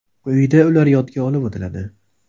Quyida ular yodga olib o‘tiladi.